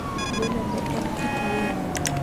Gweno be en kit winyo